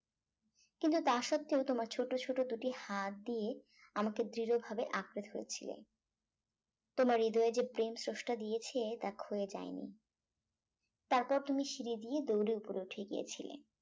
কিন্তু তা সত্ত্বেও তোমার ছোট ছোট দুটি হাত দিয়ে আমাকে দৃঢ় ভাবে আঁকড়ে ধরেছিলে তোমার হৃদয়ে যে প্রেম স্রষ্টা দিয়েছে তা ক্ষয়ে যায় নি তারপর তুমি সিঁড়ি দিয়ে দৌড়ে উপরে উঠে গিয়েছিলে